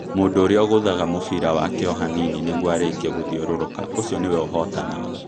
Mũndũ ũrĩa ũgũthaga mũbira wake o hanini nĩguo arĩkie gũthiũrũrũka ũcio nĩwe ũhootanaga.